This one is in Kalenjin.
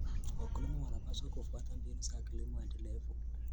Wakulima wanapaswa kufuata mbinu za kilimo endelevu.